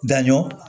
Da ɲɔ